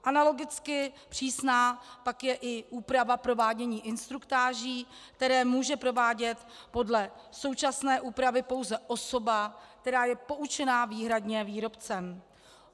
Analogicky přísná pak je i úprava provádění instruktáží, které může provádět podle současné úpravy pouze osoba, která je poučena výhradně výrobcem.